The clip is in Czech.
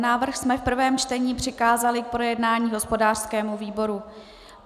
Návrh jsme v prvém čtení přikázali k projednání hospodářskému výboru.